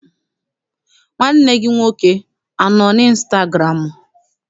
Nwanne gị nwoke anọ n' ịnstagụramụ?